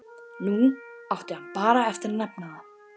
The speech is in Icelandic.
Nú átti hann bara eftir að nefna það.